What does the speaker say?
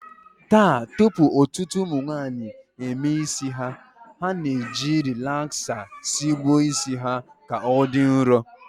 Taa, tupu ọtụtụ ụmụnwaanyị emee isi, ha na-eji rilaksa sigbuo isi ha ka ọ dị nrọ